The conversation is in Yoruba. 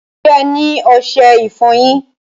Ṣẹ́ ẹ ni oṣẹ-ìfọ̀yin?